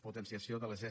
potenciació de les ese